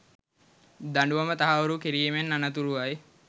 දඬුවම තහවුරු කිරීමෙන් අනතුරුවයි